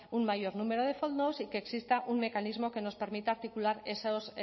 un mayor número de fondos y que exista un mecanismo que nos permita articular esos